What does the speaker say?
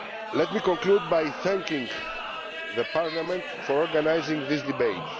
Let me conclude by thanking Parliament for organising this debate.